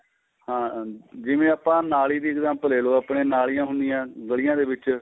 ਹਾਂ ਜਿਵੇਂ ਆਪਾਂ ਨਾਲੀ ਦੀ example ਲੈਲੋ ਆਪਣੇ ਨਾਲੀਆਂ ਹੁੰਦੀਆਂ ਏ ਗੱਲੀਂਆਂ ਦੇ ਵਿੱਚ